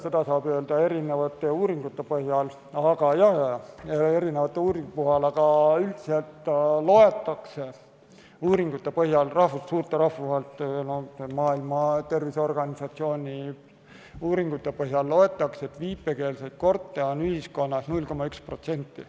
Seda saab öelda erinevate uuringute põhjal, aga üldiselt suurte rahvusvaheliste organisatsioonide, Maailma Terviseorganisatsiooni ja teiste uuringute põhjal loetakse, et viipekeelseid kurte on ühiskonnas 0,1%.